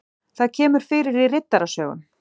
það kemur fyrir í riddarasögum